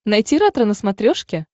найти ретро на смотрешке